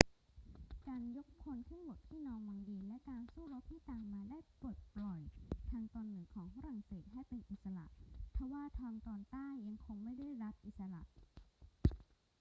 การยกพลขึ้นบกที่นอร์ม็องดีและการสู้รบที่ตามมาได้ปลดปล่อยทางตอนเหนือของฝรั่งเศสให้เป็นอิสระ ทว่าทางตอนใต้ยังคงไม่ได้รับอิสระ